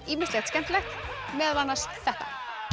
ýmislegt skemmtilegt meðal annars þetta